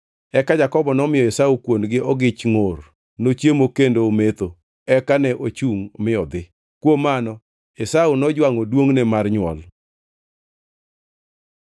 Eka Jakobo nomiyo Esau kuon gi ogich ngʼor. Nochiemo kendo ometho, eka ne ochungʼ mi odhi. Kuom mano Esau, nojwangʼo duongʼne mar nywol.